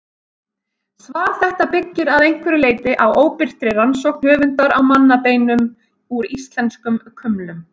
Svar þetta byggir að einhverju leyti á óbirtri rannsókn höfundar á mannabeinum úr íslenskum kumlum.